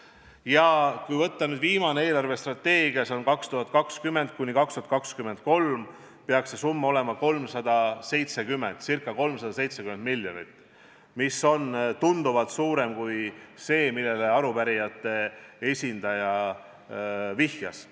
Ja kui võtta nüüd viimane eelarvestrateegia – see on aastateks 2020–2023 –, peaks see summa olema ca 385 miljonit, mis on tunduvalt suurem kui see, millele arupärijate esindaja viitas.